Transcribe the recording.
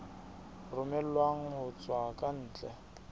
romellwang ho tswa ka ntle